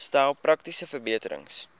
stel praktiese verbeterings